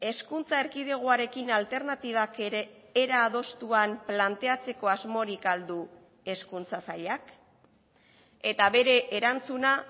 hezkuntza erkidegoarekin alternatibak ere era adostuan planteatzeko asmorik al du hezkuntza sailak eta bere erantzuna